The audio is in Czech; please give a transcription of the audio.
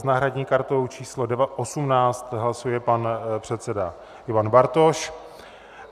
- S náhradní kartou číslo 18 hlasuje pan předseda Ivan Bartoš.